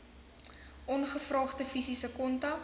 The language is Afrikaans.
ongevraagde fisiese kontak